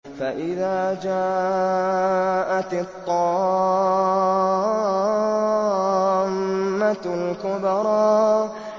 فَإِذَا جَاءَتِ الطَّامَّةُ الْكُبْرَىٰ